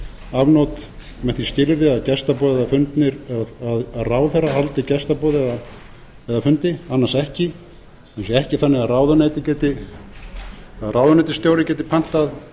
afnot með því skilyrði að ráðherra haldi gestaboð eða fundi annars ekki sem sé ekki þannig að ráðuneytisstjóri geti pantað